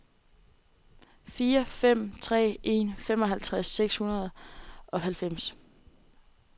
fire fem tre en femoghalvtreds seks hundrede og halvfems